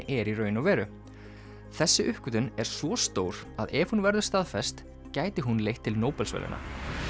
er í raun og veru þessi uppgötvun er svo stór að ef hún verður staðfest gæti hún leitt til Nóbelsverðlauna